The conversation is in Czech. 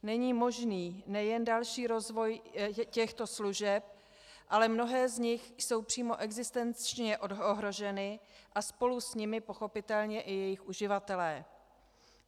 Není možný nejen další rozvoj těchto služeb, ale mnohé z nich jsou přímo existenčně ohroženy a spolu s nimi pochopitelně i jejich uživatelé.